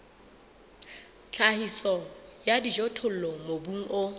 tlhahiso ya dijothollo mobung o